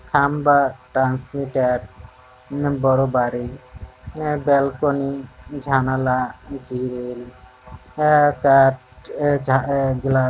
খাম্বা ট্রান্সমিটার বড় বাড়িনা ব্যালকনি জানালা গিরিল আঃ চার্ট গ্লা --